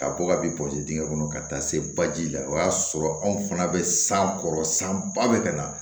Ka bɔ ka bin pɔsi dingɛ kɔnɔ ka taa se baji la o y'a sɔrɔ anw fana bɛ san kɔrɔ san ba bɛ ka na